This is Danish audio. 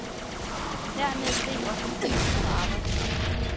Dermed steg også prisen på arbejdskraft.